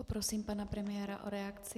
Poprosím pana premiéra o reakci.